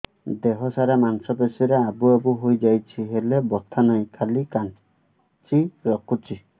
ଦେହ ସାରା ମାଂସ ପେଷି ରେ ଆବୁ ଆବୁ ହୋଇଯାଇଛି ହେଲେ ବଥା ନାହିଁ ଖାଲି କାଞ୍ଚି ରଖୁଛି